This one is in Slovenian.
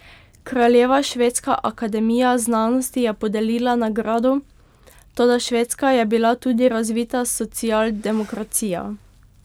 Kraljeva švedska akademija znanosti je podelila nagrado, toda Švedska je bila tudi razvita socialdemokracija.